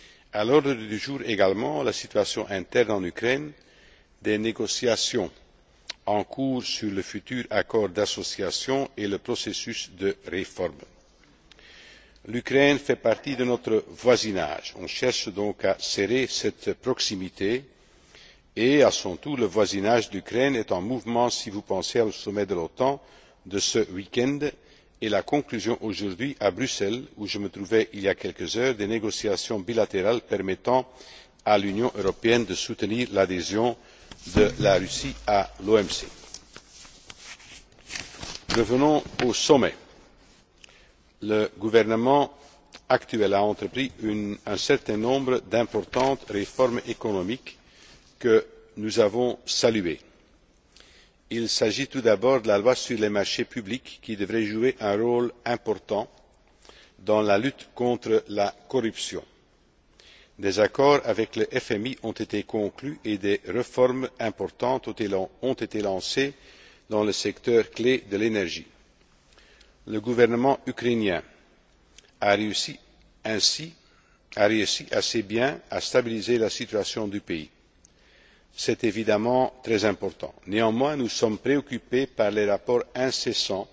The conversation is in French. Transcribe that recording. À l'ordre du jour également figurent la situation interne de l'Ukraine, les négociations en cours sur le futur accord d'association et le processus de réforme. L'Ukraine fait partie de notre voisinage. On cherche donc à serrer cette proximité et, à son tour, le voisinage de l'Ukraine est en mouvement si vous pensez au sommet de l'OTAN de ce week end et à la conclusion, aujourd'hui à Bruxelles, où je me trouvais il y a quelques heures, des négociations bilatérales permettant à l'Union européenne de soutenir l'adhésion de la Russie à l'OMC. Revenons au sommet. Le gouvernement actuel a entrepris un certain nombre d'importantes réformes économiques que nous avons saluées. Il s'agit tout d'abord de la loi sur les marchés publics, qui devrait jouer un rôle important dans la lutte contre la corruption. Les accords avec le FMI ont été conclus et des réformes importantes ont été lancées dans le secteur clé de l'énergie. Le gouvernement ukrainien a assez bien réussi à stabiliser la situation du pays. C'est évidemment très important. Néanmoins, nous sommes préoccupés par les rapports